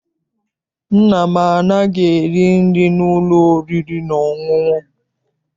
Nna m anaghị eri nri n'ụlọ oriri na ọṅụṅụ.